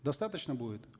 достаточно будет